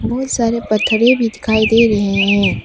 बहुत सारे पथरे भी दिखाई दे रहे हैं।